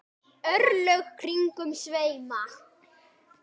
örlög kringum sveima